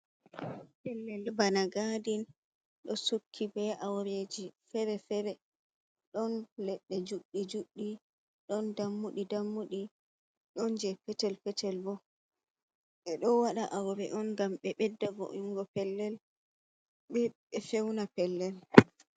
Pellel bana gadin ɗo sukki be aureji fere-fere, ɗon leɗɗe juɗɗi juɗɗi, ɗon dammuɗi dammuɗi, ɗon je petel-petel bo, ɓeɗo waɗa aure on ngam ɓe bedda vo’ingo pellel, ɓe feuna pellel.